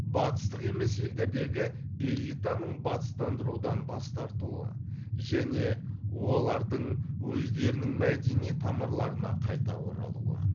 батыстық емес елдердегі элитаның батыстандырудан бас тартуы және олардың өздерінің мәдени тамырларына қайта оралуы